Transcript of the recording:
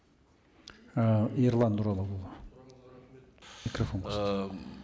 ііі ерлан нұралыұлы микрофон